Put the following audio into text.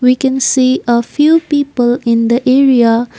we can see a few people in the area.